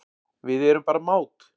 Við erum bara mát